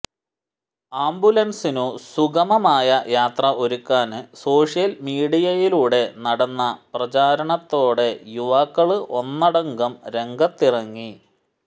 ആംബുലന്സിനു സുഗമമായ യാത്ര ഒരുക്കാന് സോഷ്യല് മീഡിയയിലൂടെ നടന്ന പ്രചാരണത്തോടെ യുവാക്കള് ഒന്നടങ്കം രംഗത്തിറങ്ങി